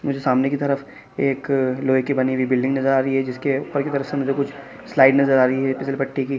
जो सामने की तरफ एक लोहे की बनी हुई बिल्डिंग आ रही है जिसके ऊपर की तरफ से मुझे कुछ स्लाइड नजर आ रही है फिसल पट्टी की --